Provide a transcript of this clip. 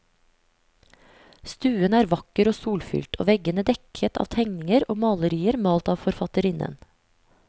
Stuen er vakker og solfylt, og veggene dekket av tegninger og malerier malt av forfatterinnen.